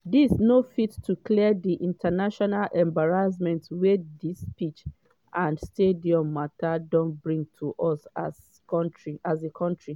“dis no fit to clear di international embarrassment wey dis pitch and stadium mata don bring to us as a kontri.